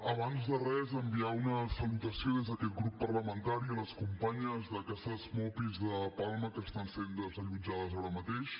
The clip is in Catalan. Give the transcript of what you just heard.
abans de res enviar una salutació des d’aquest grup parlamentari a les companyes de ca ses mopis de palma que estan sent desallotjades ara mateix